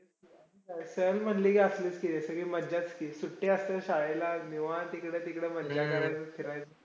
सहल म्हणले की, असलंच की, सगळी मज्जाच की, सुट्या असते. शाळेला निवात इकडं तिकडं मन लागेल तिकडं फिरायचं.